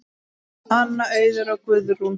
Anna, Auður og Guðrún.